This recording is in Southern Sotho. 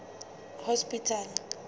hospital